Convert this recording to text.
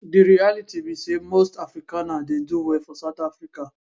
di realitybe say most afrikaner dey do well for south africa